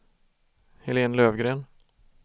Helen Löfgren